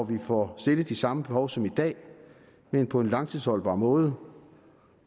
vi får stillet de samme behov som i dag men på en langtidsholdbar måde